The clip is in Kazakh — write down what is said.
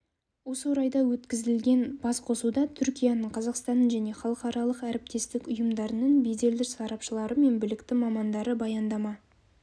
осы орайда өткізілген басқосуда түркияның қазақстанның және халықаралық әріптестік ұйымдарының беделді сарапшылары мен білікті мамандары баяндама